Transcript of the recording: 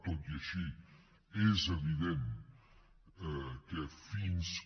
tot i així és evident que fins que